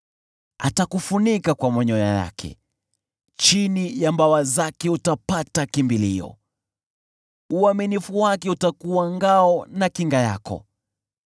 Atakufunika kwa manyoya yake, chini ya mbawa zake utapata kimbilio, uaminifu wake utakuwa ngao na kinga yako.